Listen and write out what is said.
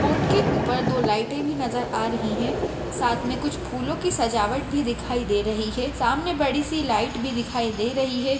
Board के ऊपर दो लाइटे नजर भी आ रही है साथ मे कुछ फूलों की सजावट भी दिखाई दे रही है सामने बड़ी सी लाइट भी दिखाई दे रही है।